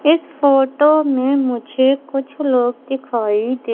इस फोटो में मुझे कुछ लोग दिखाई दे--